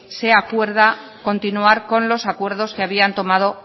se acuerda continuar con los acuerdos que habían tomado